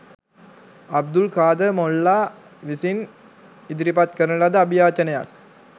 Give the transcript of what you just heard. අබ්දුල් කාදර් මොල්ලා විසින් ඉදිරිපත් කරන ලද අභියාචනයක්